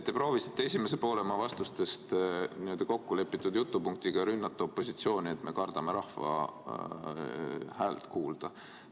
Te proovisite esimese poole oma vastustest n‑ö kokkulepitud jutupunktiga rünnata opositsiooni, et me kardame rahva häält kuulda.